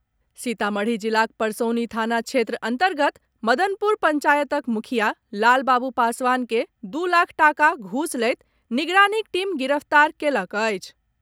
सीतामढ़ी जिलाक परसौनी थाना क्षेत्र अन्तर्गत मदनपुर पंचायतक मुखिया लाल बाबू पासवान के दू लाख टाका घूस लैत निगरानीक टीम गिरफ्तार कयलक अछि।